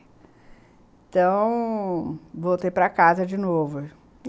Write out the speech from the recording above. Então... voltei para casa de novo.